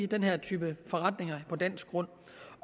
denne type forretninger på dansk grund